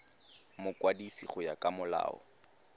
mokwadisi go ya ka molao